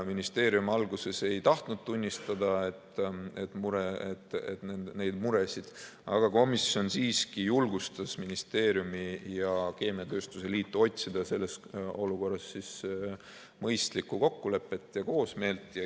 Ministeerium alguses ei tahtnud tunnistada neid muresid, aga komisjon siiski julgustas ministeeriumi ja keemiatööstuse liitu otsima selles olukorras mõistlikku kokkulepet ja koosmeelt.